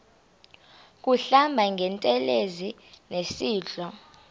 kuhlamba ngantelezi nasidlo